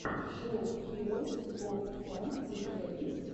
шоу хироус оф фан у тебя есть